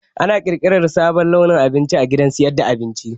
Ana ƙirƙirar sabon launin abinci a gidan sayar da abinci